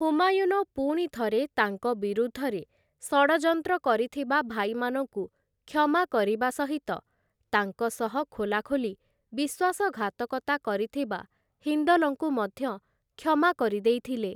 ହୁମାୟୁନ ପୁଣିଥରେ ତାଙ୍କ ବିରୁଦ୍ଧରେ ଷଡ଼ଯନ୍ତ୍ର କରିଥିବା ଭାଇମାନଙ୍କୁ କ୍ଷମା କରିବାସହିତ ତାଙ୍କସହ ଖୋଲାଖୋଲି ବିଶ୍ୱାସଘାତକତା କରିଥିବା, ହିନ୍ଦଲଙ୍କୁ ମଧ୍ୟ କ୍ଷମା କରି ଦେଇଥିଲେ ।